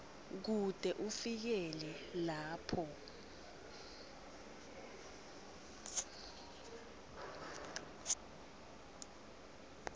kute kufikele lapho